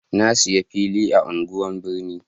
na saya fili a unguwan birni